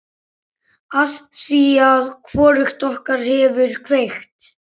Afþvíað hvorugt okkar hefur kveikt.